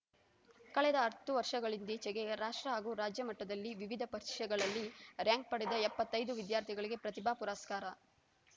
ಕಳೆದ ಹತ್ತು ವರ್ಷಗಳಿಂದೀಚೆಗೆ ರಾಷ್ಟ್ರ ಹಾಗೂ ರಾಜ್ಯ ಮಟ್ಟದಲ್ಲಿ ವಿವಿಧ ಪರೀಕ್ಷೆಗಳಲ್ಲಿ ರಾರ‍ಯಂಕ್‌ ಪಡೆದ ಎಪ್ಪತ್ತೈದು ವಿದ್ಯಾರ್ಥಿಗಳಿಗೆ ಪ್ರತಿಭಾ ಪುರಸ್ಕಾರ